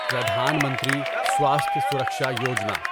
Pradhan Mantri Swasthya Suraksha Yojana